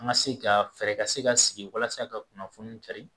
An ka se ka fɛɛrɛ ka se ka sigi walasa ka kunnafoni cari